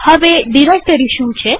હવે ડિરેક્ટરી શું છે